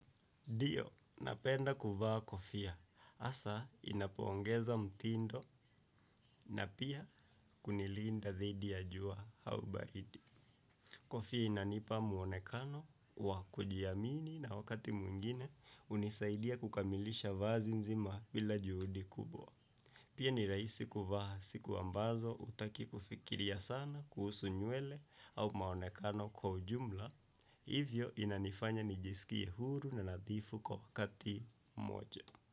Ndio napenda kuvaa kofia. Hasa inapoongeza mtindo na pia kunilinda dhidi ya jua au baridi. Kofia inanipa muonekano wa kujiamini na wakati mwingine hunisaidia kukamilisha vazi nzima bila juhudi kubwa. Pia ni rahisi kuvaa siku ambazo hutaki kufikiria sana kuhusu nywele au maonekano kwa ujumla. Hivyo inanifanya nijisikie huru na nadhifu kwa wakati mmoja.